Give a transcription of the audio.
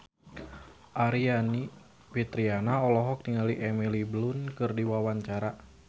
Aryani Fitriana olohok ningali Emily Blunt keur diwawancara